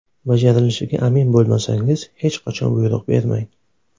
Bajarilishiga amin bo‘lmasangiz, hech qachon buyruq bermang!